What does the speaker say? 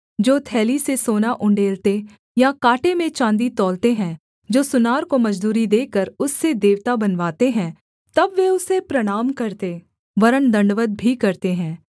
जो थैली से सोना उण्डेलते या काँटे में चाँदी तौलते हैं जो सुनार को मजदूरी देकर उससे देवता बनवाते हैं तब वे उसे प्रणाम करते वरन् दण्डवत् भी करते हैं